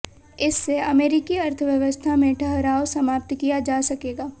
इससे अमेरिकी अर्थयवस्था में ठहराव समाप्त किया जा सकेगा